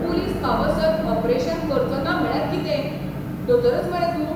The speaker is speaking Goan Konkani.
पुलीस पावसर ऑपरेशन करचोना म्हळ्यार कितें? दोतोरच मरे तूं ?